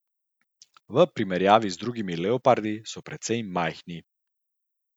V primerjavi z drugimi leopardi so precej majhni.